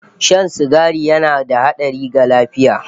Shan sigari yana da hatsari ga lafiya